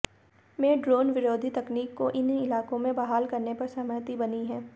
में ड्रोन विरोधी तकनीक को इन इलाकों में बहाल करने पर सहमति बनी है